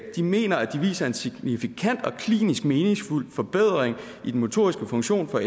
de mener at de viser en signifikant og klinisk meningsfuld forbedring i den motoriske funktion for